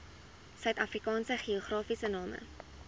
suidafrikaanse geografiese name